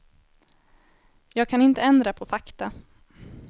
Jag kan inte ändra på fakta.